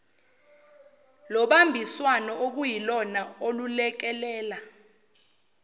lobambiswano okuyilona olulekelela